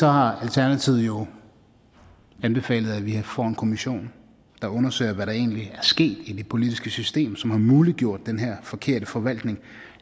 har alternativet jo anbefalet at vi får en kommission der undersøger hvad der egentlig er sket i det politiske system som har muliggjort den her forkerte forvaltning